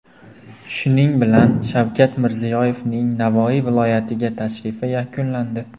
Shuning bilan Shavkat Mirziyoyevning Navoiy viloyatiga tashrifi yakunlandi.